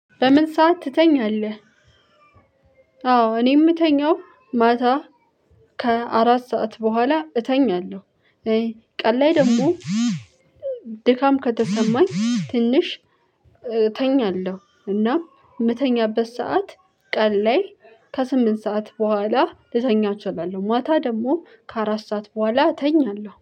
በምን ሰዓት ትተኛለህ? አዎ እኔ የምተኛው ማታ ከአራት ሰዓት በኋላ እተኛለሁ። ቀን ላይ ደግሞ ድካም ከተሰማኝ ትንሽ እተኛለሁ። እና የምተኛበት ሰዓት ቀን ላይ ከስምንት ሰዓት በኋላ ልተኛ እችላለሁ። ማታ ደግሞ ከአራት ሰዓት በኋላ እተኛለሁ።